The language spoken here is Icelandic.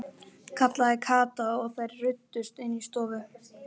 kallaði Kata og þær ruddust inn í stofu.